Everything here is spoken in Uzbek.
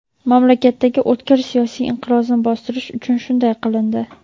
mamlakatdagi o‘tkir siyosiy inqirozni bostirish uchun shunday qilindi.